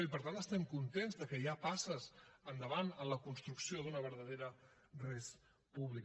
i per tant estem contents que hi ha passes endavant en la construcció d’una verdadera res publica